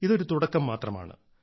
ഇത് ഒരു തുടക്കം മാത്രമാണ്